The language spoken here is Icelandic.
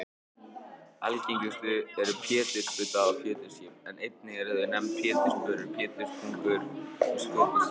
Algengust eru pétursbudda og pétursskip en einnig eru þau nefnd pétursbörur, péturspungur og skötuskip.